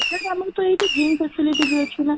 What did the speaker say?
ତାହାଲେ ଆମର ତ ଏଠି gym facility ଅଛି ନା?